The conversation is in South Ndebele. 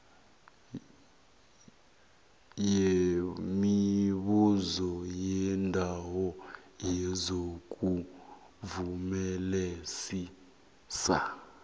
wemibuso yeendawo wezokuvumelanisa